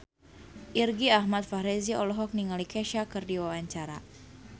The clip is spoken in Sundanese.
Irgi Ahmad Fahrezi olohok ningali Kesha keur diwawancara